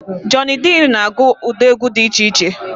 Jọny Drịl na agụ ụdị egwu dị iche iche